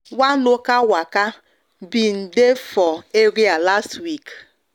one local waka been dey for area last week